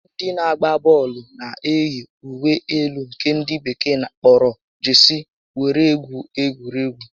Ndị na-agba bọọlụ na eyi uwe elu nke ndị bekee kpọrọ 'Jesii' were egwu egwuregwu